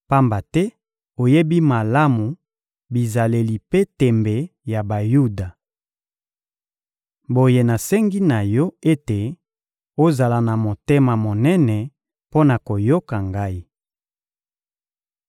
pamba te oyebi malamu bizaleli mpe tembe ya Bayuda. Boye nasengi na yo ete ozala na motema monene mpo na koyoka ngai.